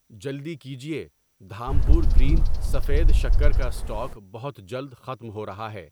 جلدی کیجیے، دھامپور گرین سفید شکر کا اسٹاک بہت جلد ختم ہو رہا ہے۔